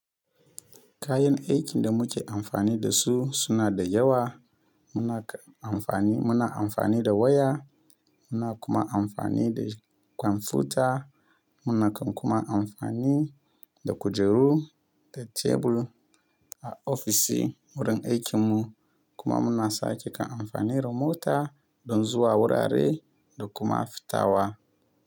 Kayan aikin da muke amfani da su suna da yawa. Muna amfani, muna amfani da waya, muna kuma amfani da kwamfuta, muna kan kuma amfani, da kujeru, da tebur a ofishin wurin aikin mu. Kuma muna sake kan amfani da mota, don zuwa wurare, da kuma fitawa.